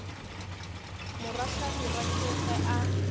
morwa hlabirwa ke ge a